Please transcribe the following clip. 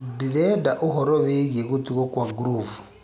ndĩrendaũhoro wĩĩgĩe gutugwo kwa groove